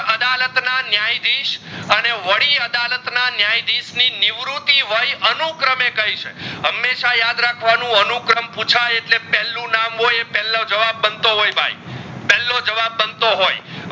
ના ન્યાધીસ અને વડી અદાલત ના ન્યાધીસ વગર ની નિવૃતિ વય અનુ ક્રમે કહી છે હમેશા યાદ રખવાનું અનુક્રમ પૂછાઇ એટલે પહળું નામ હોય એ પહલો જવાબ બનતું હોય પહલો જવાબ બનતો હોય